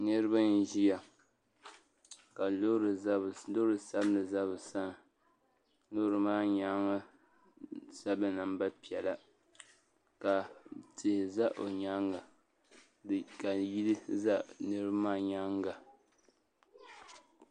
Niriba n ziya ka loori sabinli za bi sani loori maa yɛanga sabila namba piɛlla ka tihi za o yɛanga ka yili za niriba maa yɛanga.